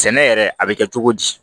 Sɛnɛ yɛrɛ a bɛ kɛ cogo di